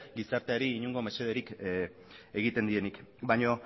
gizarteari inongo mesederik egiten dienik baina